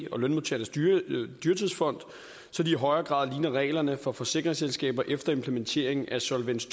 og lønmodtagernes dyrtidsfond så de i højere grad ligner reglerne for forsikringsselskaber efter implementeringen af solvens